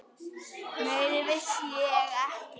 Meira vissi ég ekki.